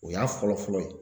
O y'a fɔlɔ fɔlɔ ye